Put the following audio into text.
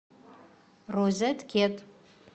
розет кет